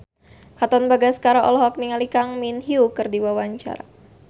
Katon Bagaskara olohok ningali Kang Min Hyuk keur diwawancara